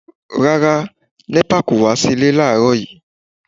Rárá, NEPA kò wá sí ilé láàrọ́ yìí.